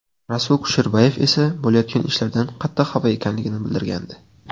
Rasul Kusherbayev esa bo‘layotgan ishlardan qattiq xafa ekanligini bildirgandi.